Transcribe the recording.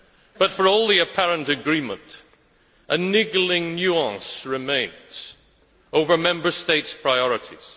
But for all the apparent agreement, a niggling nuance remains over Member States' priorities.